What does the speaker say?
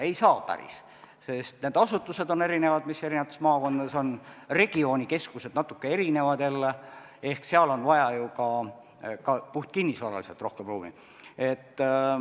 Ei saa päriselt, sest need asutused on erinevad, mis maakondades on, regioonikeskused on natuke erinevad jälle ehk seal on vaja ju ka puhtkinnisvaraliselt rohkem ruumi.